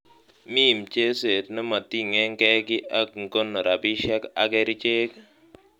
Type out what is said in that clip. mi mchezek nemoting'engen kii ak ngono rabishiek ak kerichek